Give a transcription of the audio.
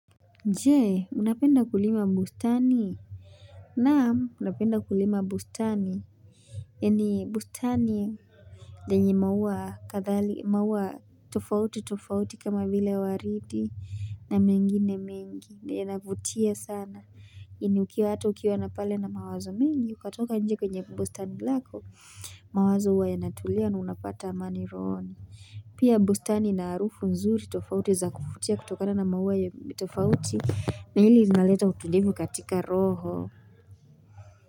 Jee unapenda kulima bustani naam napenda kulima bustani ya ni bustani lenye maua kathali maua tofauti tofauti kama vile waridi na mengine mengi ya navutia sana ini ukiwa hata ukiwa napale na mawazo mengi ukatoka nje kwenye bustani lako mawazo uwa yanatulia na unapata amani rohoni pia bustani ina arufu nzuri tofauti za kuvutia kutokana na maua ya tofauti Nelis naleta utulivu katika roho.